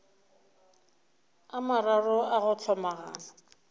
a mararo a go hlomagana